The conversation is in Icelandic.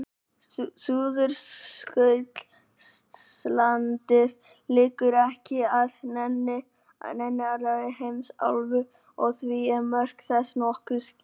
Suðurskautslandið liggur ekki að neinni annarri heimsálfu og því eru mörk þess nokkuð skýr.